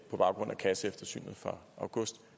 baggrund af kasseeftersynet fra august